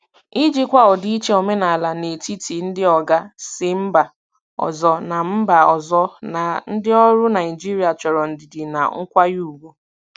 Ijikwa ọdịiche omenala n'etiti ndị oga si mba ọzọ na mba ọzọ na ndị ọrụ Naịjirịa chọrọ ndidi na nkwanye ùgwù.